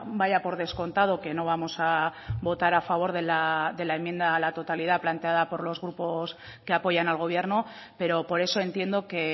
vaya por descontado que no vamos a votar a favor de la enmienda a la totalidad planteada por los grupos que apoyan al gobierno pero por eso entiendo que